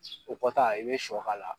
o kɔ ta i be sɔ k'a la